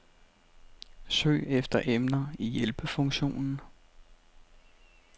Søg efter emner i hjælpefunktionen.